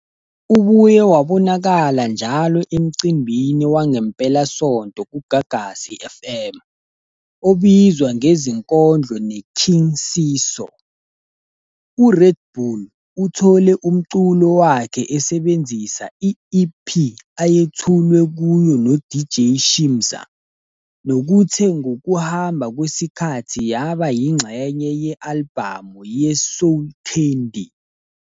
Ubuye wabonakala njalo emcimbini wangempelasonto kuGagasi FM, obizwa ngeZinkondlo neKing Siso. URed Bull uthole umculo wakhe esebenzisa i-EP ayethulwe kuyo noDJ Shimza, nokuthe ngokuhamba kwesikhathi yaba yingxenye ye-albhamu yeSoul Candi.